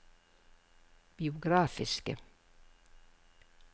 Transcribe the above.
biografiske